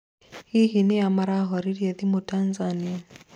hihi nĩa marahoreirio thimũ Tanzania